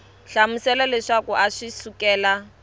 hlamusela leswaku a swi sukela